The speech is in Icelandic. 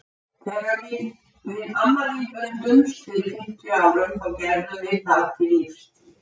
Þegar við amma þín bundumst fyrir fimmtíu árum þá gerðum við það til lífstíðar.